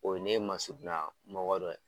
O ye ne masurunya mɔgɔ dɔ ye.